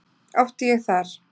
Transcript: Átti ég þar